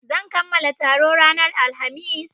Zan kamala taro ranar Alhamis.